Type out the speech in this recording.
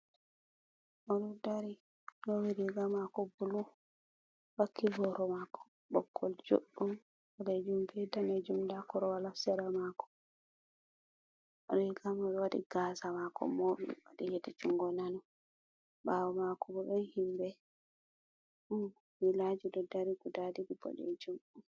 Oɗo dari, lowi riga mako bulu, wakki boro mako ɓoggol juɗɗum ɓalejum be danejum nda korol hasara mako. riga mai waɗii gasa mako moɓi waɗi hedi jungo nano ɓawo mako no ɗon himbe ɗon kulaji ɗo dari ɓoɗejum.